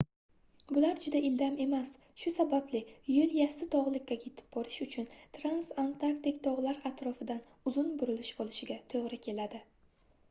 bular juda ildam emas shu sababli yoʻl yassi togʻlikka yetib borish uchun transantarktik togʻlar atrofidan uzun burilish olishiga toʻgʻri keladi